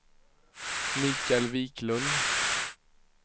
Michael Wiklund